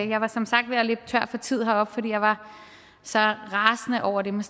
jeg var som sagt ved at løbe tør for tid heroppe for jeg var så rasende over det med